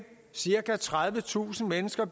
cirka tredivetusind mennesker